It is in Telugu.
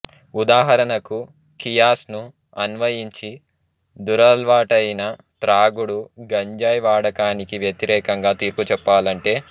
ఉదాహరణకు ఖియాస్ ను అన్వయించి దురలవాట్లయిన త్రాగుడు గంజాయి వాడకానికి వ్యతిరేకంగా తీర్పు చెప్పాలంటే